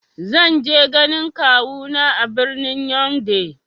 Zan je ganin kawu na a birnin "Younde "